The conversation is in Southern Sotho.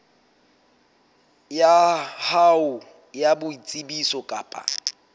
ya hao ya boitsebiso kapa